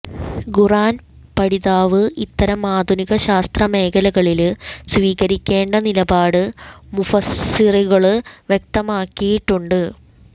ഖുര്ആന് പഠിതാവ് ഇത്തരം ആധുനിക ശാസ്ത്ര മേഖലകളില് സ്വീകരിക്കേണ്ട നിലപാട് മുഫസ്സിറുകള് വ്യക്തമാക്കിയിട്ടുണ്ട്